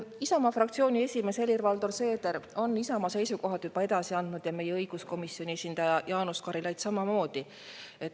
Isamaa fraktsiooni esimees Helir-Valdor Seeder on Isamaa seisukohad juba edasi andnud ja meie esindaja õiguskomisjonis Jaanus Karilaid samamoodi.